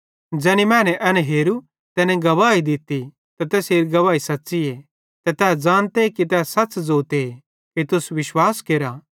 ज़ैनी मैने एन हेरू तैनी गवाही दित्ती ते तैसेरी गवाही सच़्च़ीए ते तै ज़ानते कि सच़ ज़ोते कि तुस भी विश्वास केरा